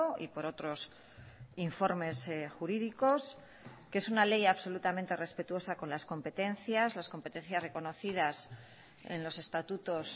y por otros informes jurídicos que es una ley absolutamente respetuosa con las competencias las competencias reconocidas en los estatutos